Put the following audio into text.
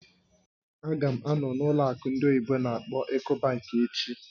Ága m anọ n'ụlọ akụ ndị oyibo n'akpọ "Ecobank" echi